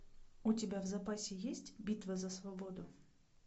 у тебя в запасе есть битва за свободу